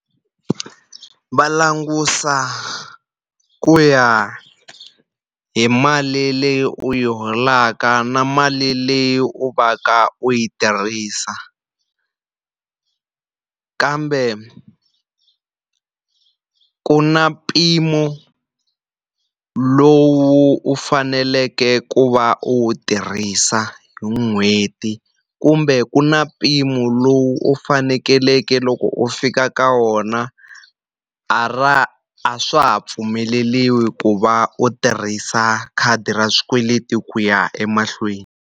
Va languta ku ya hi mali leyi u yi holaka na mali leyi u va ka u yi tirhisa. Kambe ku na mpimo lowu u faneleke ku va wu tirhisa hi n'hweti, kumbe ku na mpimo lowu u fanekeleke loko u fika ka wona a a swa ha pfumeleriwi ku va u tirhisa khadi ra swikweleti ku ya emahlweni.